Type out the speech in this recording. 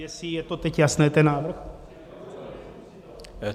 Jestli je to teď jasné, ten návrh?